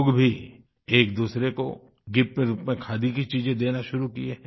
लोग भी एक दूसरे को गिफ्ट के रूप में खादी की चीज़े देना शुरू किये हैं